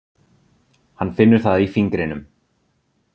Hann finnur það í fingrinum.